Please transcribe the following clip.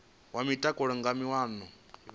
wa mutakalo nga maana vha